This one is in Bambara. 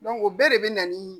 o bɛɛ de bɛ na ni